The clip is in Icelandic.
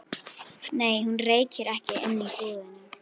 Nei, hún reykir ekki inni í búðinni.